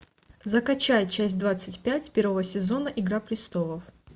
закачай часть двадцать пять первого сезона игра престолов